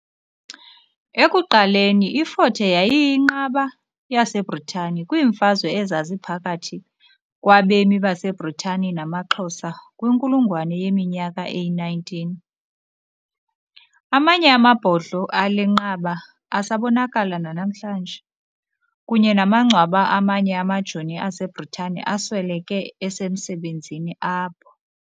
Ekuqaleni, iFort Hare yayiyinqaba yaseBritani kwiimfazwe ezaziphakathi kwabemi baseBritani namaXhosa kwinkulungwane yeminyaka eyi19. Amanye amabhodlo ale nqaba asabonakala nanamhlanje, kunye namangcwaba amanye amajoni aseBritane asweleke esemsebenzini apho.